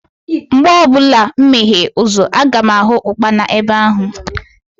Mgbe ọbụla mụ meghee ụzọ, aga m ahụ Ụkpana ebe ahụ